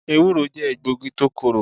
Ewúro jẹ́ egbògi tó korò.